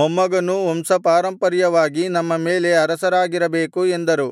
ಮೊಮ್ಮಗನೂ ವಂಶಪಾರಂಪರ್ಯವಾಗಿ ನಮ್ಮ ಮೇಲೆ ಅರಸರಾಗಿರಬೇಕು ಎಂದರು